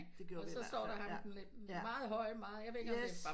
Det gjorde vi i hvert fald ja ja yes